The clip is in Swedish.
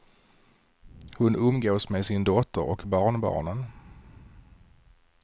Hon umgås med sin dotter och barnbarnen.